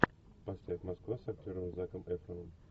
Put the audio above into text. поставь москва с актером заком эфроном